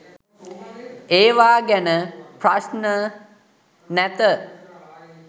ඒවා ගැන ප්‍රශ්න නැත